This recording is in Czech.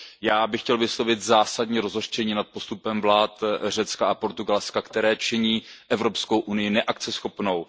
Já bych chtěl vyslovit zásadní rozhořčení nad postupem vlád Řecka a Portugalska, které činí Evropskou unii neakceschopnou.